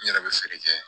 N yɛrɛ bɛ feere kɛ